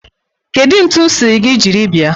Kedu ntu m siri gi jiri bia?